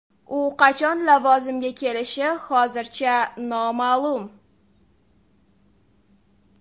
U qachon lavozimga kelishi hozircha noma’lum.